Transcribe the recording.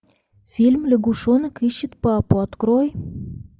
фильм лягушонок ищет папу открой